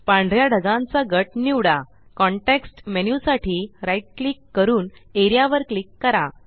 पांढऱ्या ढगांचा गट निवडा कॉन्टेक्स्ट मेन्यु साठी right क्लिक करून एआरईए वर क्लिक करा